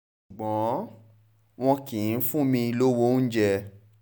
ṣùgbọ́n wọn kì í fún mi lọ́wọ́ oúnjẹ